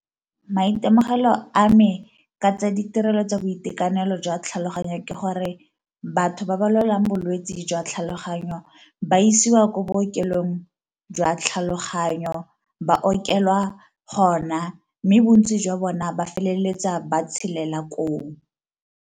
Maitemogelo a me ka tsa ditirelo tsa boitekanelo jwa tlhaloganyo ke gore, batho ba ba lwalang bolwetse jwa tlhaloganyo ba isiwa ko bookelong jwa tlhaloganyo ba okelwa gona mme bontsi jwa bona ba feleletsa ba tshelela koo.